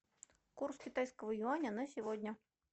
курс китайского юаня на сегодня